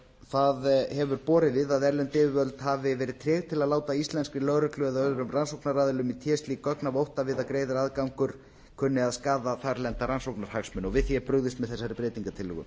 það hefur borið við að erlend yfirvöld hafi verið treg til að láta íslenskri lögreglu eða öðrum rannsóknaraðilum í té slík gögn af ótta við að greiður aðgangur kunni að skaða þarlenda rannsóknarhagsmuni og við því er brugðist með þessari